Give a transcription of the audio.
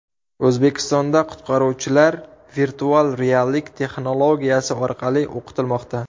O‘zbekistonda qutqaruvchilar virtual reallik texnologiyasi orqali o‘qitilmoqda.